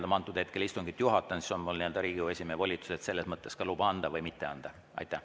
Kui ma antud hetkel istungit juhatan, siis on mul Riigikogu esimehe volitused ja selles mõttes ka voli luba anda või mitte anda.